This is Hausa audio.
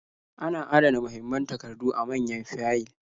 Ana adana mahimman takardu a manyan fayil.